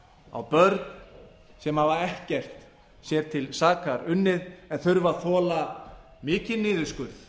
á börn sem hafa ekkert sér til saka unnið en þurfa að þola mikinn niðurskurð